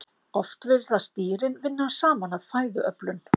Oft virðast dýrin vinna saman að fæðuöflun.